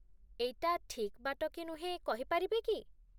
ଏଇଟା ଠିକ୍ ବାଟ କି ନୁହେଁ କହି ପାରିବେ କି?